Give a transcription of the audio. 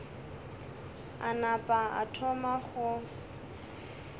a napa a thoma go